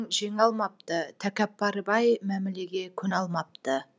жеңе алмапты тәкаппар бай мәмілеге көне алмапты